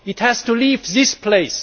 It has to leave this place.